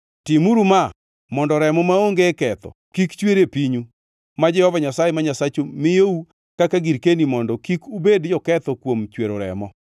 Timuru ma mondo remo maonge ketho kik chwer e pinyu, ma Jehova Nyasaye ma Nyasachu miyou kaka girkeni mondo kik ubed joketho kuom chwero remo.